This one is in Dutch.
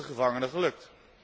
Het is de gevangenen gelukt.